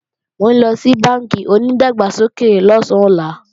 Mò ńlọ sí bánkì onìdàgbàsókè lọ̀sán ọlá